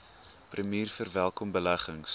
premier verwelkom beleggings